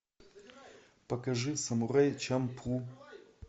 покажи самурай чамплу